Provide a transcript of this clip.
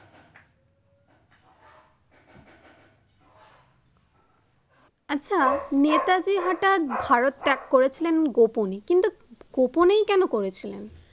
আচ্ছা নেতাজী হঠাত ভারত ত্যাগ করেছিলেন গোপনে কিন্তু গোপনেই কেন করেছিলেন?